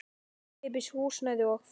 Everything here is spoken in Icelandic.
Ókeypis húsnæði og fæði.